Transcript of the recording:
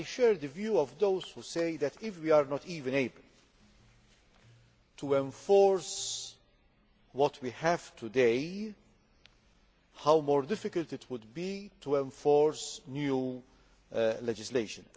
But I share the view of those who say that if we are not even able to enforce the rules we have today, how much more difficult it will be to enforce new legislation.